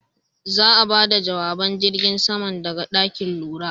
Za'a bada jawaban jirgin saman daga ɗakin lura.